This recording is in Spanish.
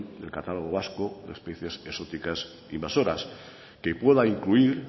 del catálogo vasco de especies exóticas invasoras que pueda incluir